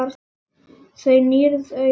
Þú nýrð augun.